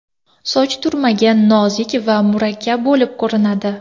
Soch turmagi nozik va mukammal bo‘lib ko‘rinadi.